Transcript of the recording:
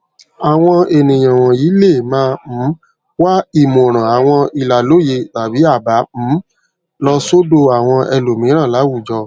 àwọn ènìyàn wònyí lè máa um wá ìmòràn àwọn ìlàlóye tàbí àbá um lọ sódò àwọn ẹlòmíràn láwùjọ